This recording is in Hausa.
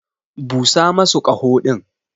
Busa masu kaho din.